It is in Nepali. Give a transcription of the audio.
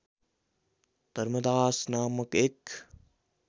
धर्मदास नामक एक